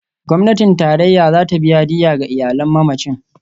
Gwamnatin Tarayya za ta biya diyya ga iyalan mamacin.